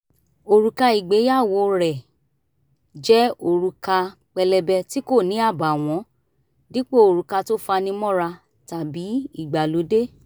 òrùka ìgbéyàwó rẹ̀ jẹ́ òrùka pélébé tí kò ní àbààwọ́n dípò òrùka tó fani mọ́ra tàbí ìgbàlódé